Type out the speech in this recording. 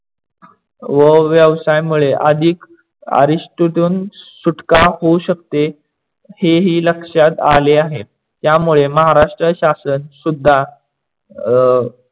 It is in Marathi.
व्यवसाय मुळे अधिक आरीषटतून सुटका होऊ शकते हेही लक्षात आले आहे. त्यामुळे महाराष्ट्र शाशन सुद्धा अं